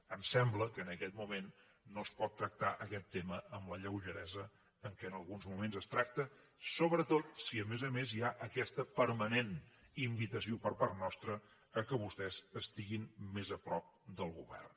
em sembla que en aquest moment no es pot tractar aquest tema amb la lleugeresa amb què en alguns moments es tracta sobretot si a més a més hi ha aquesta permanent invitació per part nostra que vostès estiguin més a prop del govern